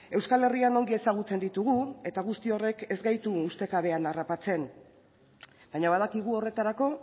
euskal herrian ongi ezagutzen ditugu eta guztiz horrek ez gaitu ustekabean harrapatzen baina badakigu horretarako